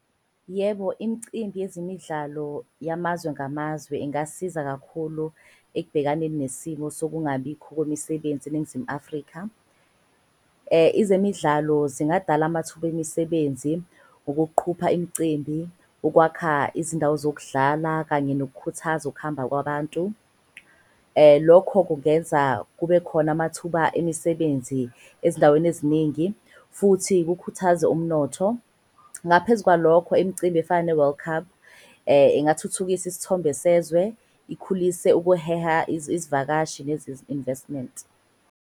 Yebo, imcimbi yezemidlalo yamazwe ngamazwe ingasiza kakhulu ekubhekaneni nesimo sokungabikho kwemisebenzi eNingizimu Afrika. Izemidlalo zingadala amathuba emisebenzi, ukuqhupha imicimbi, ukwakha izindawo zokudlala kanye nokukhuthaza ukuhamba kwabantu. Lokho kungenza kube khona amathuba emisebenzi ezindaweni eziningi futhi kukhuthaze umnotho. Ngaphezu kwalokho, imicimbi efana ne-World Cup ingathuthukisa isithombe sezwe, ikhulise ukuheha izivakashi nezi-investment.